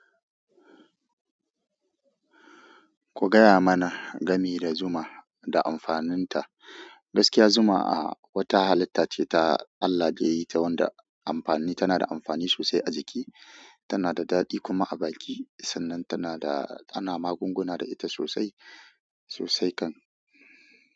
Ku gaya mana game da zuma da amfaninta. Gaskiya zuma a wata halitta ce ta Allah da yayi ta wanda amfani tana da amfani sosai a jiki. Tana da daɗi kuma a baki sannan tana da ana magunguna sosai sosai kam.